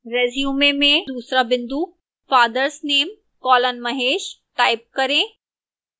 resume में दूसरा बिंदु fathers name colon mahesh type करें